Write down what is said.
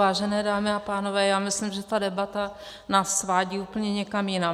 Vážené dámy a pánové, já myslím, že ta debata nás svádí úplně někam jinam.